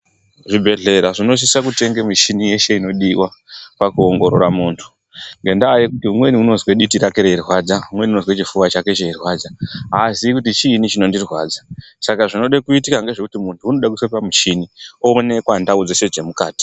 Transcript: Zvibhedhlera zvinosise kutenge muchini inodiwa pakuongorora muntu ngendaa yekuti umweni unozwe diti rake reirwadza umweni chifuva chake cheirwadza aziyi kuti chiinyi chinondirwadza Saka zvinode kuitika ngezvekuti muntu unode kuiswe pachini onekwa ndawu dzeshe dzemukati.